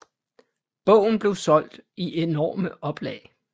Bogen blev solgt i enorme oplag